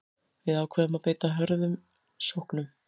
Við ákváðum að beita hröðum sóknum